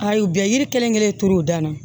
Ayi u bɛ yiri kelen kelen turu u danna